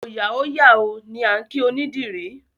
Òòyà ó yà o! ni a kí onídìrí.